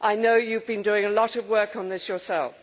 I know you have been doing a lot of work on this yourself.